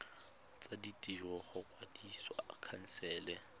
tsa ditiro go kwadisa khansele